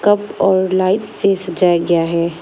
और लाइट से सजाया गया है